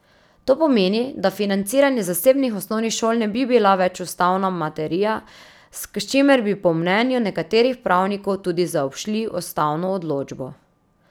To pomeni, da financiranje zasebnih osnovnih šol ne bi bila več ustavna materija, s čimer bi po mnenju nekaterih pravnikov tudi zaobšli ustavno odločbo.